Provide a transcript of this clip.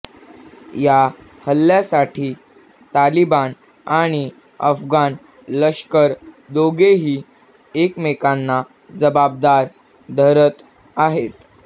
या हल्ल्यासाठी तालिबान आणि अफगाण लष्कर दोघेही एकमेकांना जबाबदार धरत आहेत